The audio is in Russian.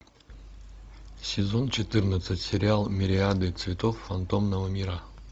сезон четырнадцать сериал мириады цветов фантомного мира